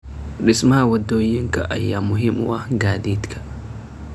Dhismaha waddooyinka ayaa muhiim u ah gaadiidka.